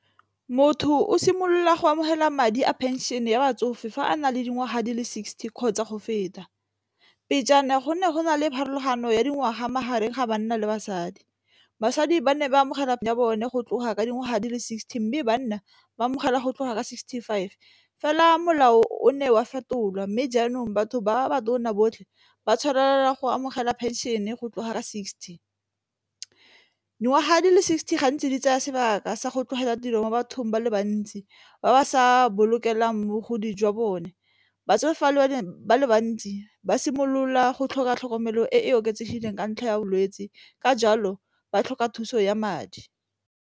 Motho o simolola go amogela madi a pension ya batsofe fa a na le dingwaga di le sixty kgotsa go feta go ne go na le pharologano ya dingwaga magareng ga banna le basadi basadi ba ne ba amogela ya bone go tloga ka dingwaga di le sixty mme banna ba amogela go tloga ka sixty-five fela molao o ne wa fetolwa mme jaanong batho ba batona botlhe ba tshwanela go amogela pension e go tlogela sixty. Dingwaga di le sixty gantsi di tsaya sebaka sa go tlogela tiro mo bathong ba le bantsi ba ba sa bolokelang mogodi jwa bone. Batsofe ba ba le bantsi ba simolola go tlhoka tlhokomelo e e oketsegileng ka ntlha ya bolwetse ka jalo ba tlhoka thuso ya madi.